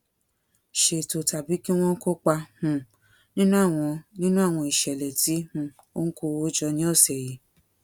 ṣètò tàbí kí wọn kópa um nínú àwọn nínú àwọn ìṣẹlẹ tí um ó ń kó owó jọ ní ọsẹ yìí